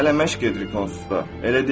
Hələ məşq edirik onsuz da.